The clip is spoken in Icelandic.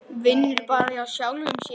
Vinnur bara hjá sjálfum sér.